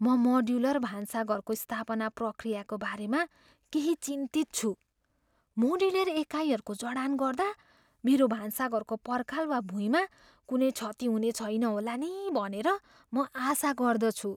म मोड्युलर भान्साघरको स्थापना प्रक्रियाको बारेमा केही चिन्तित छु। मोड्युलर एकाइहरूको जडान गर्दा मेरो भान्साघरको पर्खाल वा भुइँमा कुनै क्षति हुने छैन होला नि भनेर म आशा गर्दछु।